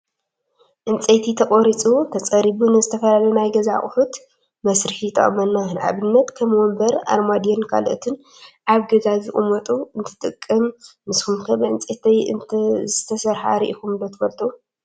ዕንፀይቲ ተቆሪፁ ተፀሪቡ ንዝተፈላለዩ ናይ ገዛ ኣቁሑት መስርሒ ይጠቅመና። ንኣብነት ከም ወንበር፣ ኣርማድዮን ካልኦትን ኣብ ገዛ ዝቅመጡ እንትጠቅም፣ ንስኩም ከ ብዕንፀይቲ ዝተሰረሓ ሪኢኩም ዶ ትፈልጡ?